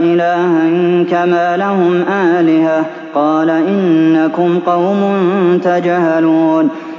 إِلَٰهًا كَمَا لَهُمْ آلِهَةٌ ۚ قَالَ إِنَّكُمْ قَوْمٌ تَجْهَلُونَ